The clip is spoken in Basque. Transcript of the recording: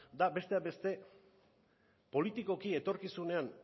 da besteak beste politikoki etorkizunean